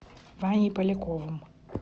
ваней поляковым